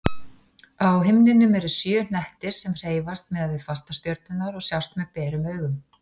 Á himninum eru sjö hnettir sem hreyfast miðað við fastastjörnurnar og sjást með berum augum.